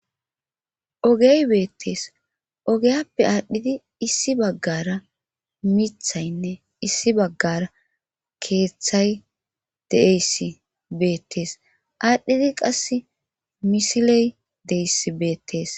Ogey beettees ogeyappe aadhdhidi issi baggara mithaynne issi baggara keeththay deeyss beettees aadhdhidi qas misiley deyss beettees.